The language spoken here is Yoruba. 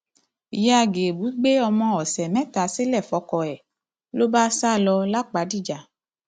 ìyá gébù gbé ọmọ ọsẹ mẹta sílẹ fọkọ ẹ ló bá sá lọ lápàdíjà